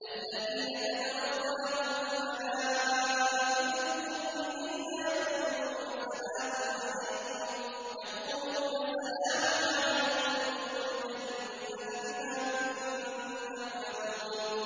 الَّذِينَ تَتَوَفَّاهُمُ الْمَلَائِكَةُ طَيِّبِينَ ۙ يَقُولُونَ سَلَامٌ عَلَيْكُمُ ادْخُلُوا الْجَنَّةَ بِمَا كُنتُمْ تَعْمَلُونَ